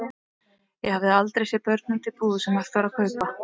Ég hafði aldrei séð börn úti í búð sem hægt var að kaupa.